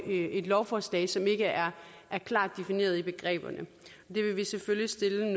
et lovforslag som ikke er klart defineret i begreberne det vil vi selvfølgelig stille